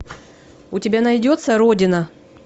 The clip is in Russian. у тебя найдется родина